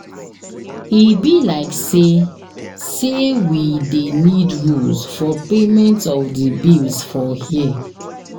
E be like sey sey we dey need rules for payment of di bills for here.